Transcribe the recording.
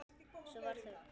Svo varð þögn.